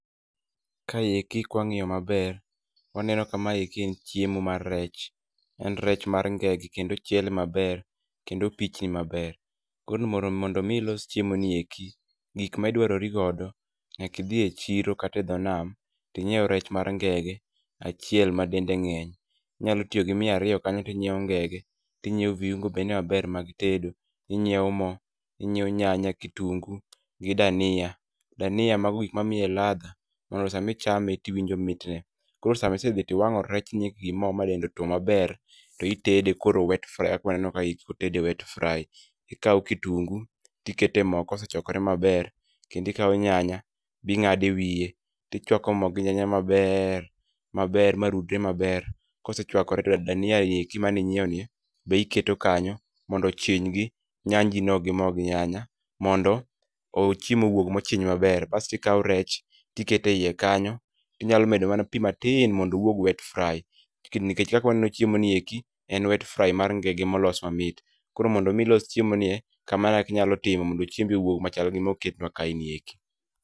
Kaeki ka wang'yo maber, waneno ka ma eki en chiemo mar rech. En rech mar ngege kendo ochiele maber, kendo opichni maber. Koro mondo mi ilos chiemoni eki, gik ma idwarori godo nyaka idhi e chiro kata e dho nam, to inyieu rech mar ngege achiel ma dende ng'eny. Inyalo tiyo gi mia ariyo kanyo kinyieo ngege, tinyieo viungo bende maber mag tedo, inyieo mo, inyie nyanya, kitungu gi dania, dania mago gik ma miye ladha mondo sama ichame to iwinjo mitne. Koro sama isedhi to iwang'o rechni endi gi mo ma dende otuo maber, to itede koro wet fry kaka waneno ka kotede wet fry. Ikao kitungu tikete mo kosechwakore maber, kendo ikao nyanya bi ng'ado ewiye, tichwako mo gi nyanya maber maber ma rudre maber, kosechwakore to dania ni eki mane inyieo ni be iketo kanyo mondo ochiny gi nyanji no gi mo gi nyanya, mondo o chiemo owuog mochiny maber. Bas tikao rechtikete e ie kanyo tinyalo medo mana pi matin mondo owuog wet fry, nike nikech kaka waneno chiemo ni eki en wet fry mar ngegr molos mamit. Koro mondo mi ilos chiemoni e kamano ekaka inyalo timo mondo chiembi owuog machal gi moketnwa kae ni eki.